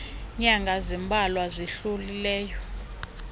nyanga zimbalwa zidlulileyo